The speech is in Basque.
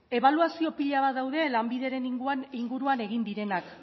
ebaluazio pila bat dauden lanbideren inguruan egin direnak